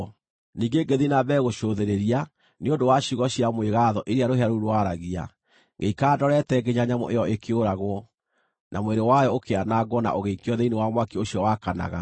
“Ningĩ ngĩthiĩ na mbere gũcũthĩrĩria nĩ ũndũ wa ciugo cia mwĩgaatho iria rũhĩa rũu rwaragia. Ngĩikara ndorete nginya nyamũ ĩyo ĩkĩũragwo, na mwĩrĩ wayo ũkĩanangwo na ũgĩikio thĩinĩ wa mwaki ũcio wakanaga.